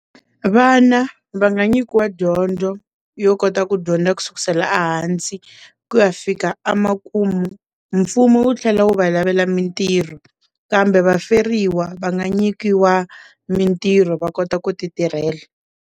Vana va nga nyikiwa dyondzo yo kota ku dyondza ku sukisela ehansi ku ya fika emakumu mfumo wu tlhela wu va lavela mintirho kambe vaferiwa va nga nyikiwa mintirho va kota ku ti tirhela.